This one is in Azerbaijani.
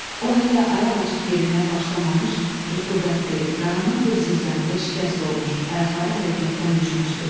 O hələ ayaq açıb yeriməyə başlamamış rütubətli, qaranlıq bir zirzəmidə şikəst olmuş, ayaqları hərəkətdən düşmüşdü.